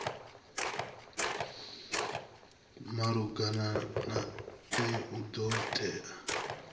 malugana nae u do tea